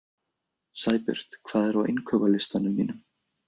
Sæbjört, hvað er á innkaupalistanum mínum?